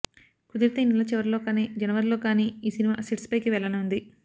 కుదిరితే ఈ నెల చివరిలో కానీ జనవరి లో కానీ ఈ సినిమా సెట్స్ పైకి వెళ్లనుంది